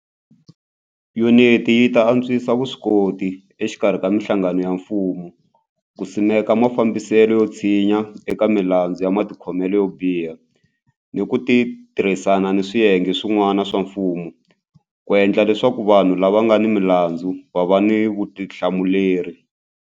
Yuniti yi ta antswisa vuswikoti exikarhi ka mihlangano ya mfumo ku simeka mafambiselo yo tshinya eka milandzu ya matikhomelo yo biha ni ku tirhisana ni swiyenge swin'wana swa mfumo ku endla leswaku vanhu lava nga ni milandzu va va ni vutihlamuleri.